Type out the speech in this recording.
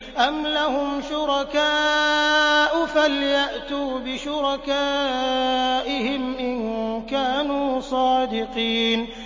أَمْ لَهُمْ شُرَكَاءُ فَلْيَأْتُوا بِشُرَكَائِهِمْ إِن كَانُوا صَادِقِينَ